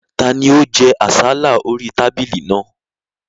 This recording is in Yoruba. Ta ni ó jẹ àsálà orí tábìlì náà?